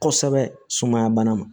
Kosɛbɛ sumaya bana ma